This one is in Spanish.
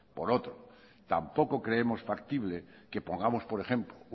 por otro tampoco creemos factible que pongamos por ejemplo